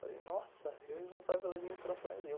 Falei, nossa, eu responsável pela administração.